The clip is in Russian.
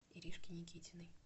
иришке никитиной